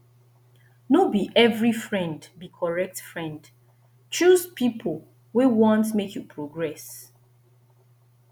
no be every friend be correct friend choose pipo wey want make you progress